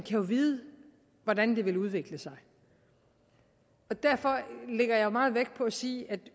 jo vide hvordan det vil udvikle sig og derfor lægger jeg meget vægt på at sige at der